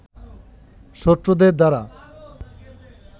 শত্রুদের দ্বারা